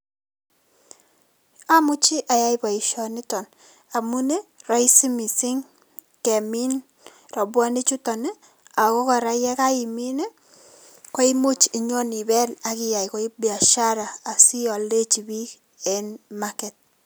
Omuchi ayai boisioniton amun ii roisi missing' kemin robuonik chuton ii ago kora yekaimin koimuch inyo ibel ak iyai koik biashara sioldechi biik en market.